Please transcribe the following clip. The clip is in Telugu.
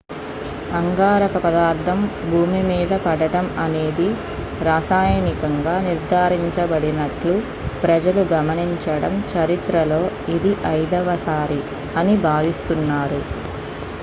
అంగారక పదార్థం భూమిమీద పడటం అనేది రసాయనికంగా నిర్ధారించబడిన ట్లు ప్రజలు గమనించడం చరిత్రలో ఇది ఐదవసారి అని భావిస్తున్నారు